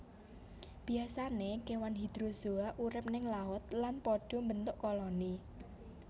Biasané kewan Hydrozoa urip ning laut lan pada mbentuk koloni